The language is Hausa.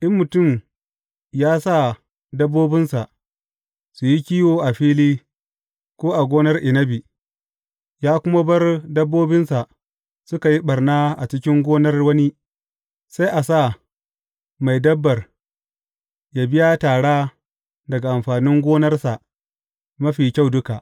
In mutum ya sa dabbobinsa su yi kiwo a fili ko a gonar inabi, ya kuma bar dabbobinsa suka yi ɓarna a cikin gonar wani, sai a sa mai dabbar yă biya tara daga amfanin gonarsa mafi kyau duka.